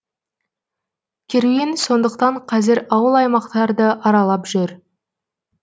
керуен сондықтан қазір ауыл аймақтарды аралап жүр